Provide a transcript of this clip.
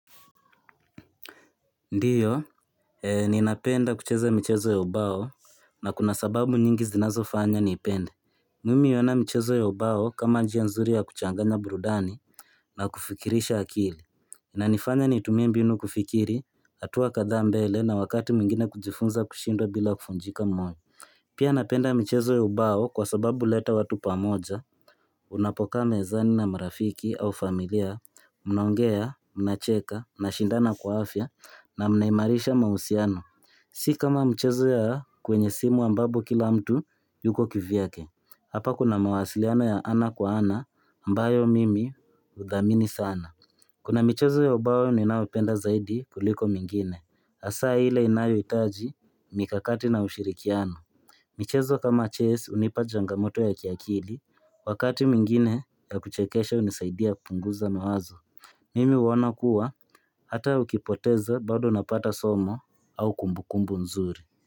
Ndiyo, ninapenda kucheza michezo ya ubao na kuna sababu nyingi zinazo fanya niipende Mimi hiona michezo ya ubao kama njia nzuri ya kuchanganya burudani na kufikirisha akili na nifanya nitumie mbinu kufikiri, hatua kadha mbele na wakati mwingine kujifunza kushindwa bila kufunjika moyo Pia napenda michezo ya ubao kwa sababu leta watu pamoja Unapokaa mezani na marafiki au familia Mnaongea, mnacheka, mnashindana kwa afya na mnaimarisha mahusiano Si kama mchezo ya kwenye simu ambapo kila mtu yuko kivyake Hapa kuna mawasiliano ya ana kwa ana aMbayo mimi hudhamini sana Kuna mchezo ya ubao ninayopenda zaidi kuliko mingine hasa hile inayo itaji mikakati na ushirikiano michezo kama ches unipa jangamoto ya kiakili Wakati mwingine ya kuchekesha unisaidia kupunguza mawazo Mimi huona kuwa Hata ukipoteza bado unapata somo au kumbukumbu nzuri.